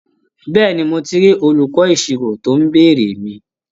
Bẹ́ẹ̀ni, mo ti rí olùkọ́ ìṣirò tó ń béèrè mi?